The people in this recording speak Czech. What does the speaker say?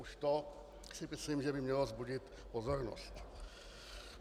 Už to si myslím, že by mělo vzbudit pozornost.